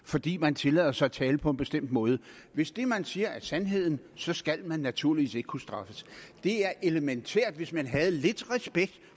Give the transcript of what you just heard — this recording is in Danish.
fordi man tillader sig at tale på en bestemt måde hvis det man siger er sandheden så skal man naturligvis ikke kunne straffes det er elementært hvis man havde lidt respekt